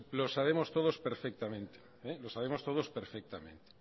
lo sabemos todos perfectamente lo sabemos todos perfectamente